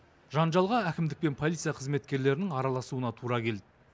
жанжалға әкімдік пен полиция қызметкерлерінің араласуына тура келді